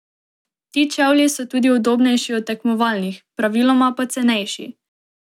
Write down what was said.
Ti čevlji so tudi udobnejši od tekmovalnih, praviloma pa cenejši.